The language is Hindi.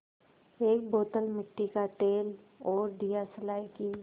एक बोतल मिट्टी का तेल और दियासलाई की